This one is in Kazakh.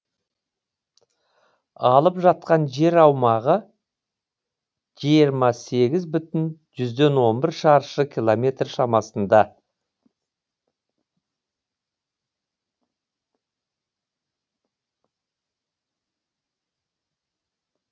алып жатқан жер аумағы жиырма сегіз бүтін жүзден он бір шаршы километр шамасында